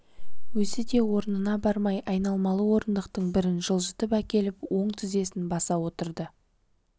өзі де орнына бармай айналмалы орындықтың бірін жылжытып әкеліп оң тізесін баса отырды